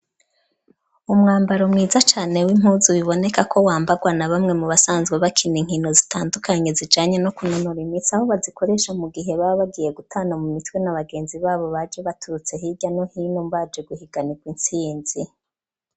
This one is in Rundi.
Umwambaro mwiza cane w'impuzu biboneka ko wambagwa na bamwe mu basanzwe bakina inkino zitandukanye zijanye no kunanura imitsi aho bazikoresha mu gihe baba bagiye gutana mu mitwe na bagenzi babo baje baturutse hirya no hino mbaje guhiganirwa insinzi.